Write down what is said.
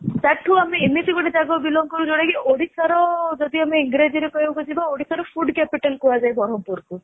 that too ଆମେ ଏମିତି ଗୋଟେ ଜାଗାରୁ belong କରୁ ଯୋଉଟା କି ଓଡିଶାର ଯଦି ଆମେ ଇଂରାଜୀ ରେ କହିବାକୁ ଯିବା ଓଡିଶା ର food capital କୁହାଯାଏ ବ୍ରହ୍ମପୁର କୁ